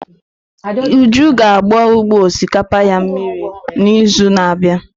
Uju ga agba ugbo osịkapa ya mmiri n'izu na-abịa.